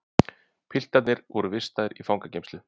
Piltarnir voru vistaðir í fangageymslu